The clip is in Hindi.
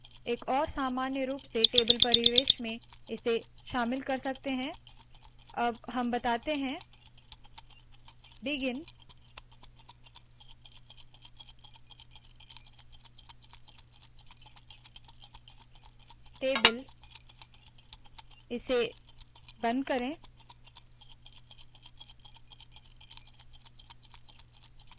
एक और सामान्य रूप से टेबल परिवेश में इसे शामिल कर सकते है अब हम बताते है बिगिन टेबल इसे बंद करे